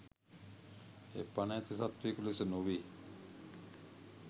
එය පණ ඇති සත්වයකු ලෙස නොවේ.